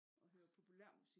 Og hører populærmusik